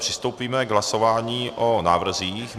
Přistoupíme k hlasování o návrzích.